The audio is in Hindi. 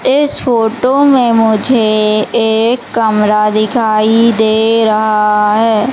इस फोटो में मुझे एक कमरा दिखाई दे रहा है।